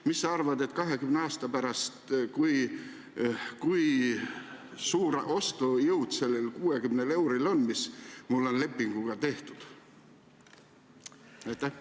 Mis sa arvad, kui suur ostujõud 20 aasta pärast sellel 60 eurol on, mis mul lepingu järgi on saada?